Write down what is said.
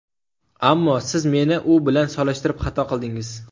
Ammo siz meni u bilan solishtirib xato qildingiz.